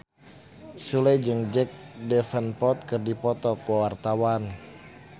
Sule jeung Jack Davenport keur dipoto ku wartawan